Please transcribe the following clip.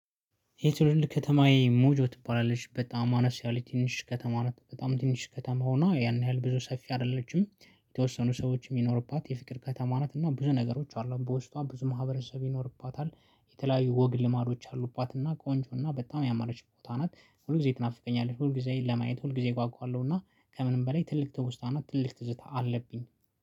የትውልድ ከተማዬ ሞጆ ትባላለች በጣም አነስ ያለች ትንሽ ከተማ ናት በጣም ትንሽ ከተማ ሆና ያን ያህል ብዙ ሰፊ አይደለችም። የተወሰኑ ሰዎች የሚኖሩባት የፍቅር ከተማ ናት እና ብዙ ነገሮች አሉ በውስጧ ብዙ ማህበረሰብ ይኖርባታል። የተለያዩ ወግ ልማዶች አሉባትና ቆንጆ እና በጣም ያማረች ቦታ ናት። ሁል ጊዜ ትናፍቀኛለች ሁል ጊዜ ለማየት ሁል ጊዜ እጓጓለሁ። እና ከምንም በላይ ትልቅ ትውስታና ትልቅ ትዝታ አለብኝ